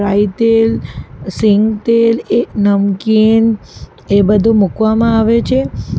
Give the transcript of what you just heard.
અહીં તેલ સિંગતેલ એ નમકીન એ બધું મૂકવામાં આવે છે.